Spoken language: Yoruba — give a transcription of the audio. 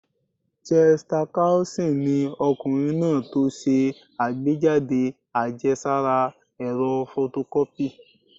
Chester Carlson ni ọkùnrin náà tó ṣe àgbéjáde àjẹsára ẹ̀rọ fotokọ́pì